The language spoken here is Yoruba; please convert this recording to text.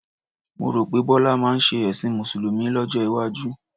Mo rò pé Bọ́lá máa ṣe ẹ̀sìn Mùsùlùmí lọ́jọ́ iwájú.